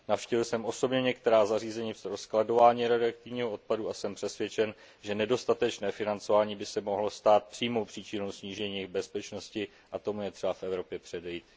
Navštívil jsem osobně některá zařízení pro skladování radioaktivního odpadu a jsem přesvědčen, že nedostatečné financování by se mohlo stát přímou příčinou snížení jejich bezpečnosti, a tomu je třeba v Evropě předejít.